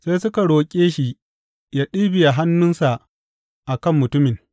Sai suka roƙe shi yă ɗibiya hannunsa a kan mutumin.